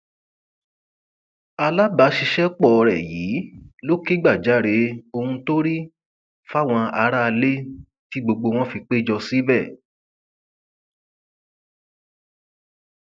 alábàáṣiṣẹpọ rẹ yìí ló kẹgbajàre ohun tó rí fáwọn aráalé tí gbogbo wọn fi pé jọ síbẹ